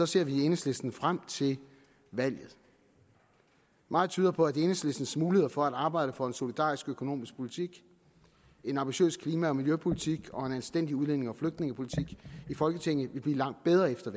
ser vi i enhedslisten frem til valget meget tyder på at enhedslistens muligheder for at arbejde for en solidarisk økonomisk politik en ambitiøs klima og miljøpolitik og en anstændig udlændinge og flygtningepolitik i folketinget vil blive langt bedre efter